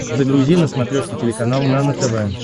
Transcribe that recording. загрузи на смотрешке телеканал нано тв